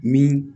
Min